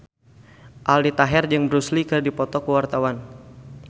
Aldi Taher jeung Bruce Lee keur dipoto ku wartawan